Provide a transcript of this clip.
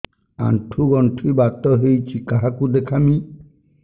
ଆଣ୍ଠୁ ଗଣ୍ଠି ବାତ ହେଇଚି କାହାକୁ ଦେଖାମି